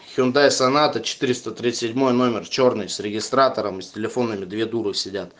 хёндай соната четыреста тридцать седьмой номер чёрный с регистратором и с телефонами две дуры сидят